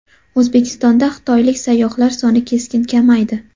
O‘zbekistonda xitoylik sayyohlar soni keskin kamaydi.